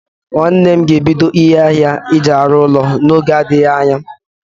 Nwanne m ga ebido ahịa ihe aji arụ ụlọ n'oge n'adịghị anya